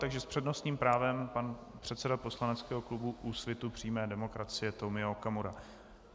Takže s přednostním právem pan předseda poslaneckého klubu Úsvitu přímé demokracie Tomio Okamura.